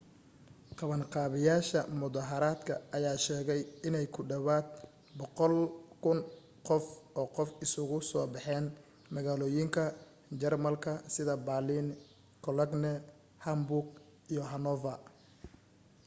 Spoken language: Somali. qabanqaabiyayaasha mudahaaradka ayaa sheegay inay ku dhawaad 100,000 oo qof isugu soo baxeen magaalooyinka jarmalka sida baaliin cologne hamburg iyo hanover